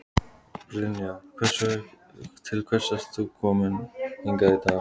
Brynja: Til hvers ert þú kominn hingað í dag?